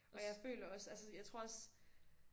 Og jeg føler også altså jeg tror også